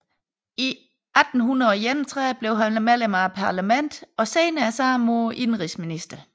I 1831 blev han medlem af parlamentet og senere samme år indenrigsminister